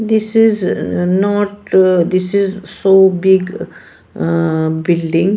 This is not this is so big ah building.